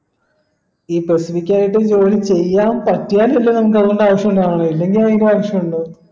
ഈ specific ആയിട്ടും ജോലി ചെയ്യാൻ പറ്റിയാൽ അല്ലെ നമുക്ക് അത്കൊണ്ട് ആവിശ്യം ഉണ്ടാവുന്നുള്ളു ഇല്ലെങ്കി ആവിശ്യം ഇണ്ടോ